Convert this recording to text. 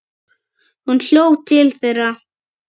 Hún hljóp til þeirra.